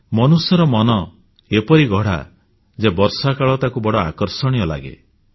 ମନୁଷ୍ୟର ମନ ଏପରି ଗଢ଼ା ଯେ ବର୍ଷାକାଳ ତାକୁ ବଡ଼ ଆକର୍ଷଣୀୟ ଲାଗେ